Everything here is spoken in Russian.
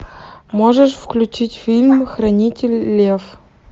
можешь включить фильм хранитель лев